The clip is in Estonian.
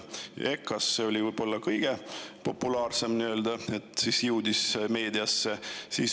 EKA oma oli võib-olla nii-öelda kõige populaarsem, mis jõudis ka meediasse.